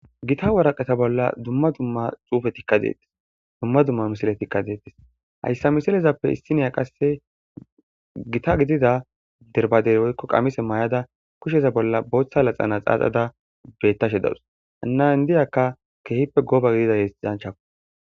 Gita waraqeta bolla dumma dumma xuufe tikka deettis dumma dumma misile tikka deettis hayssa misilezappe issiniya qasse gita gidida derbadey woykko qamise may7ada kusheza bolla booththa laxana xaaxada bettashe dawus hannan diyakka kehippe gooba gidida yesidanchako